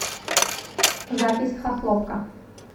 запись хохловка